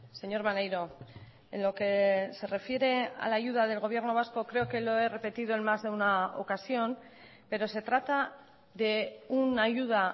señor maneiro en lo que se refiere a la ayuda del gobierno vasco creo que lo he repetido en más de una ocasión pero se trata de una ayuda